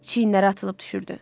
Çiyinləri atılıb düşürdü.